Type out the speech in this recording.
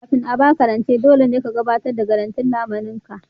Kafin a ba ku rance, dole ne ka gabatar da garantin lamunin ka